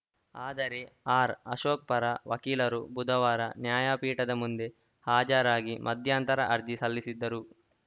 ಆದರೆ ಆರ್‌ಅಶೋಕ್‌ ಪರ ವಕೀಲರು ಬುಧವಾರ ನ್ಯಾಯಪೀಠದ ಮುಂದೆ ಹಾಜರಾಗಿ ಮಧ್ಯಾಯಂಥರ ಅರ್ಜಿ ಸಲ್ಲಿಸಿದರು